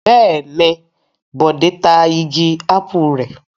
Bẹ́ẹ̀ ni, Bọ̀dé ta igi ápù rẹ̀.